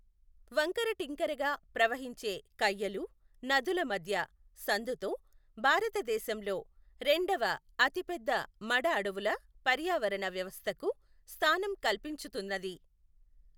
వంకరటింకరగా ప్రవహించే కయ్యలు, నదుల మధ్య సందుతో భారతదేశంలో రెండవ అతిపెద్ద మడ అడవుల పర్యావరణ వ్యవస్థకు స్థానం కల్పించుతున్నది.